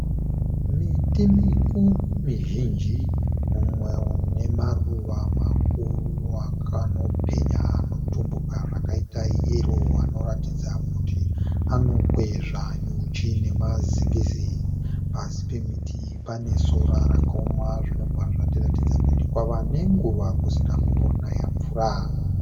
Miti mukuru mizhinji, umwe une maruva makuru akanopenya anotumbuka zvakaita yero anoratidza kuti anokwezva nyuchi nemazingizi. Pasi pemiti iyi pane sora rakaoma zvinobva zvatiratidza kuti kwava nenguva kusina kumbonaya mvura.